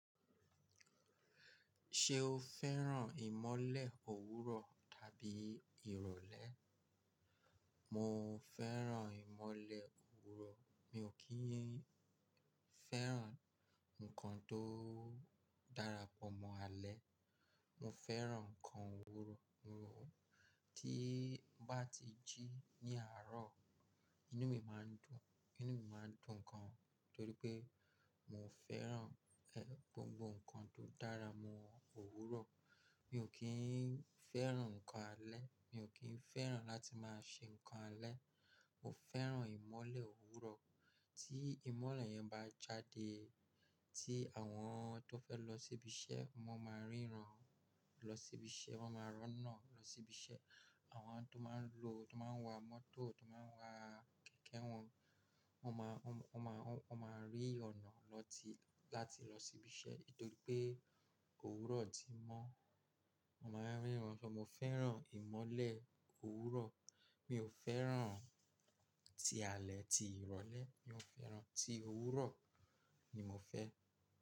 Ṣé o fẹ́ràn ìmọ́lẹ̀ òwúrọ̀ tàbí ìrọ̀lẹ́? Mo fẹ́ràn ìmọ́lẹ̀ òwúrọ̀, mi ò kí ń fẹ́ràn ǹkan tó darapọ̀ mọ́ alẹ́. Mo fẹ́ràn ǹkan òwúrọ̀, tí ń bá ti jí ní àárọ̀, inú mi máa ń dùn, inú mi máa ń dùn gan torí pé mo fẹ́ràn, ẹ, gbogbo ǹkan tó dára mọ́ òwúrọ̀. Mi ò kí ń fẹ́ràn ǹkan alẹ́, mi ò kí ń fẹ́ràn láti máa ṣe ǹkan alẹ́. Mo fẹ́ràn ìmọ́lẹ̀ òwúrọ̀, tí ìmọ́lẹ̀ yẹn bá jáde, tí àwọn tó fẹ́ lọ síbi iṣẹ́, wọ́n máa ń ríran lọ síbi iṣẹ́, wọ́n máa roná lọ síbi iṣẹ́. Àwọn tó máa ń lo, tó máa ń wa mọ́tò, tó máa ń wa kẹ̀kẹ́ wọn, wọ́n máa, wọ́n máa, wọ́n máa rí ọ̀nà lọ tí, láti lọ síbi iṣẹ́. Nítorí pé òwúrọ̀ ti mọ́, wọ́n máa ń ríran. Mo fẹ́ràn ìmọ́lẹ̀ òwúrọ̀, mi ò fẹ́ràn ti alẹ́, ti ìrọ̀lẹ́. Mi ò fẹ́ràn, ti òwúrọ̀ ni mo fẹ́.